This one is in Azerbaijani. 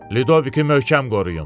Ludoviki möhkəm qoruyun.